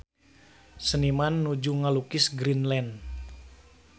Seniman nuju ngalukis Greenland